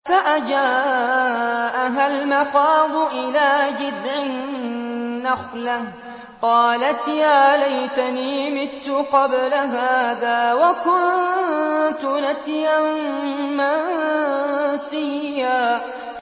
فَأَجَاءَهَا الْمَخَاضُ إِلَىٰ جِذْعِ النَّخْلَةِ قَالَتْ يَا لَيْتَنِي مِتُّ قَبْلَ هَٰذَا وَكُنتُ نَسْيًا مَّنسِيًّا